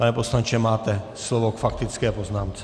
Pane poslanče, máte slovo k faktické poznámce.